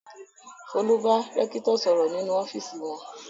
Folú bá rẹ́kítọ̀ sọ̀rọ̀ nínú ọ́fíísì wọn.